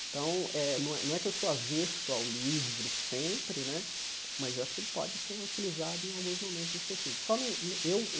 Então, eh não é não é que eu sou avesso ao livro sempre né, mas eu acho que ele pode ser utilizado em alguns momentos específicos. Só não eu eu